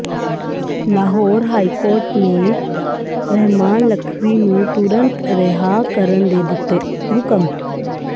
Lahore high court ਨੇ ਰਹਿਮਾਨ ਲਖਵੀ ਨੂੰ ਤੁਰੰਤ ਰਿਹਾਅ ਕਰਨ ਦੇ ਦਿੱਤੇ ਹੁਕਮ